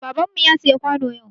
Baban mu ya siya kwano yau.